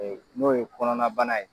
N'o ye kɔnɔna bana ye.